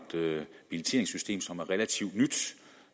billetteringssystem som er relativt nyt